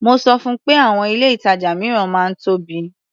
Mo sọ fun pé àwọn ilé-ìtàjà mìíràn máa ń tóbi.